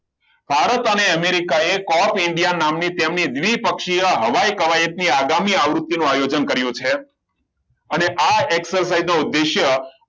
ભારત અને અમેરિકાએ cup india નામની તેમની દ્વિપક્ષીય હવાઈ કવાયત ની આગામી આવૃત્તિનો આયોજન કરેલ છે અને આ exercise નો ઉદ્દેશ્ય